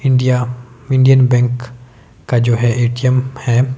India Indian bank का जो है ए_टी_एम है।